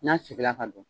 N'a sigira ka don